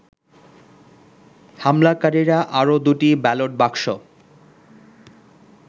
হামলাকারীরা আরো দুটি ব্যালট বাক্স